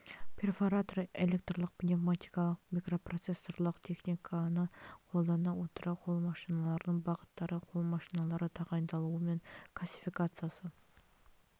перфоратор электрлік пневматикалық микропроцессорлық техниканы қолдана отыра қол машиналарының бағыттары қол машиналары тағайындалуы мен классификациясы